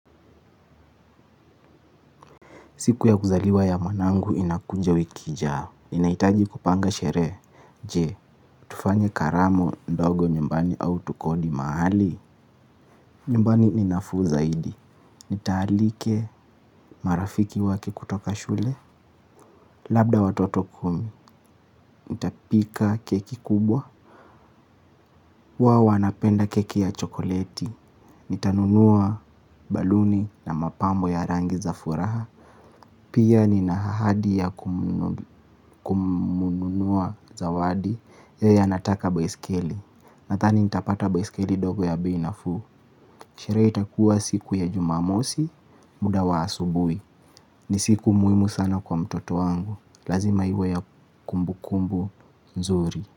Siku ya kuzaliwa ya mwanangu inakuja wiki ijayo. Ninahitaji kupanga sherehe. Je, tufanye karamu, ndogo nyumbani au tukodi mahali? Nyumbani ni nafuu zaidi. Nita alika marafiki wake kutoka shule. Labda watoto kumi. Nitapika keki kubwa. Huwa wanapenda keki ya chokoleti. Nitanunua baluni na mapambo ya rangi za furaha. Pia nina ahadi ya kumnunulia zawadi yeye anataka baiskeli. Nadhani nitapata baiskeli ndogo ya bei nafuu. Sherehe takua siku ya jumamosi muda wa asubuhi. Ni siku muhimu sana kwa mtoto wangu. Lazima iwe ya kumbu kumbu nzuri.